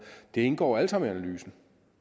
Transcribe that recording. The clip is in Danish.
indgår jo alt sammen i analysen